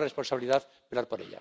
responsabilidad velar por ella.